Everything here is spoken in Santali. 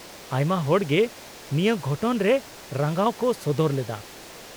-ᱟᱭᱢᱟ ᱦᱚᱲ ᱜᱮ ᱱᱤᱭᱟᱹ ᱜᱷᱚᱴᱚᱱ ᱨᱮ ᱨᱟᱸᱜᱟᱣ ᱠᱚ ᱥᱚᱫᱚᱨ ᱞᱮᱫᱟ ᱾